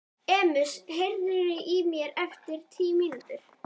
Erasmus, heyrðu í mér eftir tíu mínútur.